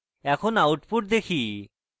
এখন output দেখি